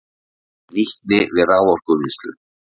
Nýtni við raforkuvinnslu